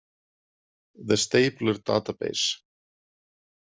The Stapler Database